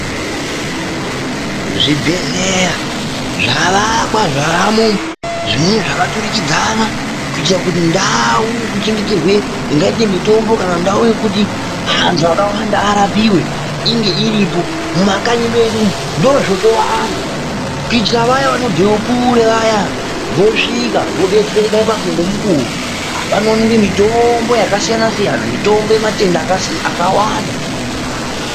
Zvibhedhleya zvavakwa zvavamo zvimweni zvakaturikidzana kuitira kuti ndau yekuchengeterwe zvingaite mitombo, kana ndau yekuti antu akawanda arapiwe, inge iripo. Mumakanyi medu ndozvotowanda kuitira vaya vanobve kure vaya vosvika, vobetsereka ipapo ngemukuwo. Panoonekwe mitombo yakasiyana-siyana mitombo yematenga akasi akawanda.